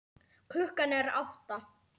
Klukkan er átta.